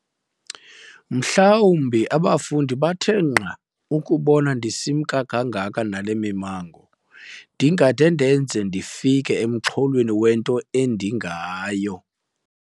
Mhlawumbi abafundi bathe nqa ukubona ndisimka kangaka nale mimango, ndingade ndenze ndifike emxholweni wento endingayo.